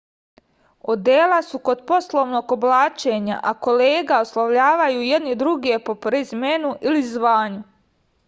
odela su kod poslovnog oblačenja a kolege oslovljavaju jedni druge po prezimenu ili zvanju